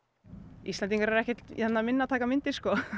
Íslendingar eru ekkert minna að taka myndir